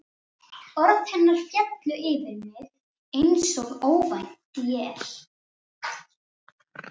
Orð hennar féllu yfir mig einsog óvænt él.